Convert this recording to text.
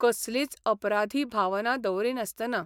कसलीच अपराधी भावना दवरिनासतना.